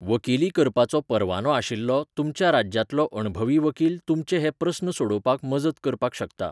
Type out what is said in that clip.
वकिली करपाचो परवानो आशिल्लो तुमच्या राज्यांतलो अणभवी वकील तुमचे हे प्रस्न सोडोवपाक मजत करपाक शकता.